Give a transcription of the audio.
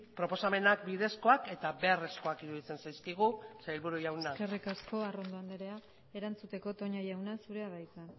proposamenak bidezkoaketa beharrezkoak iruditzen zaizkigu sailburu jauna eskerrik asko arrondo andrea erantzuteko toña jauna zurea da hitza